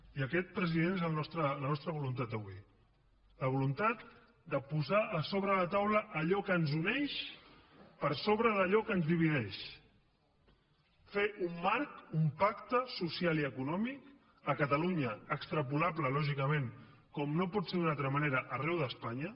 i aquesta president és la nostra voluntat avui la voluntat de posar a sobre la taula allò que ens uneix per sobre d’allò que ens divideix fer un marc un pacte social i econòmic a catalunya extrapolable lògicament com no pot ser d’una altra manera arreu d’espanya